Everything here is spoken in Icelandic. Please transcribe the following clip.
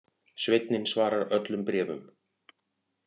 Sveinninn svarar öllum bréfum